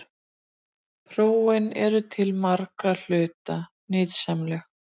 Prófin eru til margra hluta nytsamleg.